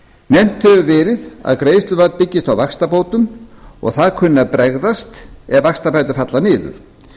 nefnt hefur verið að greiðslumat byggist meðal annars á vaxtabótum og það kunni að bregðast ef vaxtabætur falla niður